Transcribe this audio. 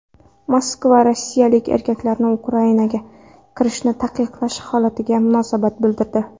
Moskva rossiyalik erkaklarni Ukrainaga kirishini taqiqlash holatiga munosabat bildirdi.